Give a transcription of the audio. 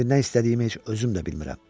İndi nə istədiyimi heç özüm də bilmirəm.